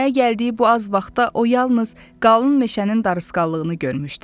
Dünyaya gəldiyi bu az vaxtda o yalnız qalın meşənin darısqallığını görmüşdü.